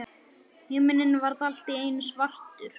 Himininn varð allt í einu svartur.